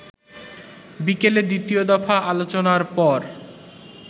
বিকেলে দ্বিতীয় দফা আলোচনার পর